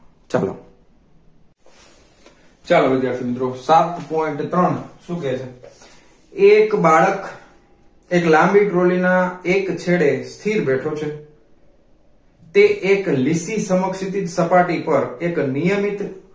ચાલો વિદ્યાર્થી મિત્રો સાત point ત્રણ શું કહે છે એક બાળક એક લાંબી trolly ના એક છેડે સ્થિર બેઠો છે તે એક લીટી સમક્ષિતિ સપાટી પર એક નિયમિત